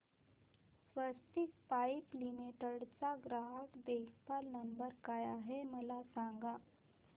स्वस्तिक pipe limited चा ग्राहक देखभाल नंबर काय आहे मला सांगा